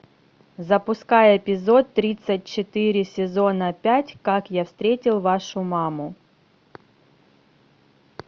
запускай эпизод тридцать четыре сезона пять как я встретил вашу маму